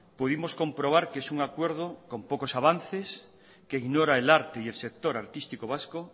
pudimos comprobar que es un acuerdo con pocos avances que ignora el arte y el sector artístico vasco